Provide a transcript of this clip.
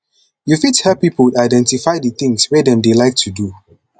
you fit help pipo identify di things wey dem dey like do